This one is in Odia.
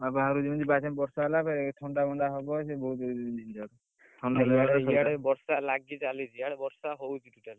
ଆଉ ବାହାରକୁ ଯିବିନି ବାହାରେ ଯଦି ବର୍ଷା ହେଲା ଫେରେ ସେ ଥଣ୍ଡା ଫଣ୍ଡ ହବ ସେ ବହୁତ ଛିଞ୍ଜଟ, ଇଆଡେ ବର୍ଷା ଲାଗିଚାଲିଛି ଇଆଡେ ବର୍ଷା ହଉଛି totally ।